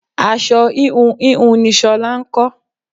Aṣọ íhùn íhùn ni ṣolá ń kọ.